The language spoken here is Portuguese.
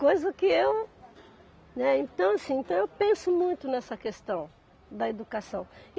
Coisa que eu. Né, então assim, então eu penso muito nessa questão da educação.